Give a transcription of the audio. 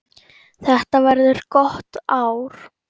Þetta verður gott ár.